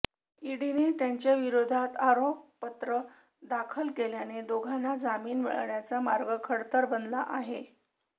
ईडीने त्यांच्याविरोधात आरोपपत्र दाखल केल्याने दोघांना जामीन मिळण्याचा मार्ग खडतर बनला आहे